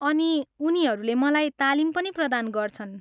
अनि उनीहरूले मलाई तालिम पनि प्रदान गर्छन्।